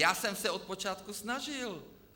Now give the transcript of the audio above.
Já jsem se od počátku snažil.